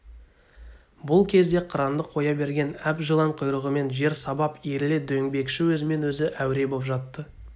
бұл кезде қыранды қоя берген әп жылан құйрығымен жер сабап иіріле дөңбекши өзімен-өзі әуре боп жатты